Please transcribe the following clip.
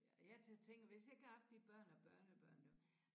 Ja jeg tænker hvis jeg ikke havde haft de børn og børnebørn nu